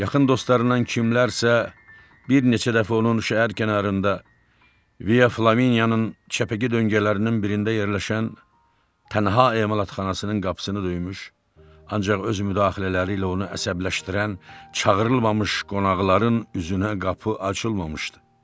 Yaxın dostlarından kimlərsə bir neçə dəfə onun şəhər kənarında Via Flaminyanın çəpəki döngələrinin birində yerləşən tənha emalatxanasının qapısını döymüş, ancaq öz müdaxilələri ilə onu əsəbləşdirən çağırılmamış qonaqların üzünə qapı açılmışdı.